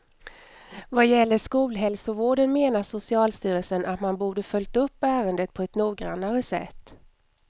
Vad gäller skolhälsovården menar socialstyrelsen att man borde följt upp ärendet på ett noggrannare sätt.